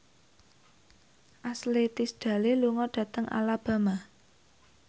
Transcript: Ashley Tisdale lunga dhateng Alabama